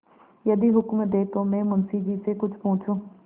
यदि हुक्म दें तो मैं मुंशी जी से कुछ पूछूँ